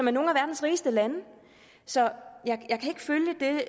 er nogle af verdens rigeste lande så